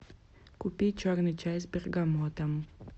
купи черный чай с бергамотом